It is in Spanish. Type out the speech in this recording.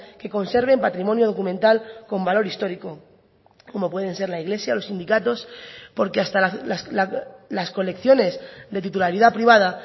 que conserven patrimonio documental con valor histórico como pueden ser la iglesia los sindicatos porque hasta las colecciones de titularidad privada